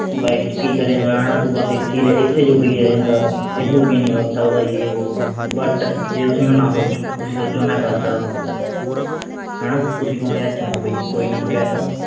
life ਚ ਕਿ ਕਰੇਂਗਾ ਹਣਾ ਤੂੰ ਬਸ ਐਥੇ ਐਥੇ ਜੋਗਾ ਹੀ ਰਹਿ ਜਾਏਂਗਾ ਇੱਦੂ ਅੱਗੇ ਨਹੀਂ ਵੱਧ ਸਕਦਾ ਯੇ ਵੋ but ਜੇ ਤੁਸੀਂ ਨਾ ਸੋਚੋਂ ਤੁਸੀਂ ਸੋਚੋਂ ਮੈਂ ਕਰ ਸਕਦਾ ਹਣਾ ਤੁਸੀਂ ਕਹੋਂ ਯਾਰ ਛੱਡ ਬਈ ਕੋਈ ਨਾ ਤੂੰ ਕਹਿ ਤਾ